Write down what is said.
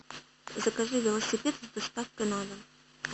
закажи велосипед с доставкой на дом